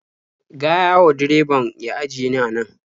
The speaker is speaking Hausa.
Gaya wa direbabn ya ajiye ni a nan.